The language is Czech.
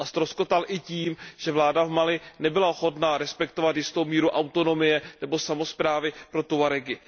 Ztroskotal i tím, že vláda v Mali nebyla ochotna respektovat jistou míru autonomie nebo samosprávy pro Tuaregy.